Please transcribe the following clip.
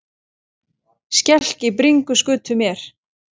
Skelk í bringu skutu mér.